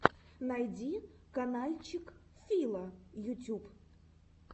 найди канальчик фила ютюб